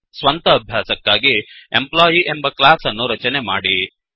ಸ್ವಂತ ಅಭ್ಯಾಸಕ್ಕಾಗಿ ಎಂಪ್ಲಾಯಿ ಎಂಬ ಕ್ಲಾಸ್ ಅನ್ನು ರಚನೆ ಮಾಡಿ